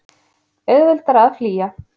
Auðveldara að flýja.